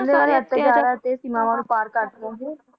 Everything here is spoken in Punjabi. ਹਾਜੀ ਕਹਿੰਦੇ ਸੀਮਾਵਾ ਨੂੰ ਪਾਰ ਕਰ ਕੇ ਪਹੁੰਚੇ